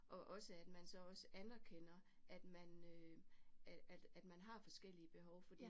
Og også at man så også anerkender at man øh at at man har forskellige behov fordi